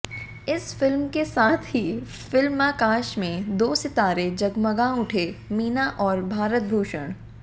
इस फिल्म के साथ ही फिल्माकाश में दो सितारे जगमगा उठे मीना और भारतभूषण